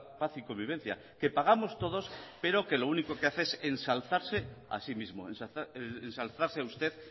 paz y convivencia que pagamos todos pero que lo único que hace es ensalzarse a sí mismo ensalzarse usted